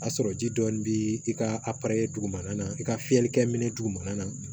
A sɔrɔ ji dɔɔnin bɛ i ka a dugumana na i ka fiyɛli kɛ minɛ dugumana na